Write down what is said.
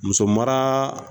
Musomaraa